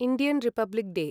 Indian Republic day